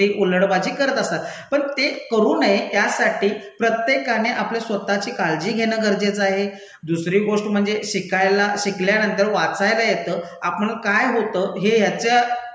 गोष्टी उल्डबाजी करत असतात. पण ते करू नये यासाठी प्रत्येकाने आपल्या स्वतःची काळजी घेणं गरजेचं आहे, दुसरी गोष्ट म्हणजे शिकायला शिकल्यानंतर वाचायला येतं, आपण काय होतं हे ह्याच्या,